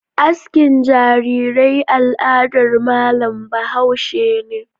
Askin jarirai aladar malam bahaushe ne.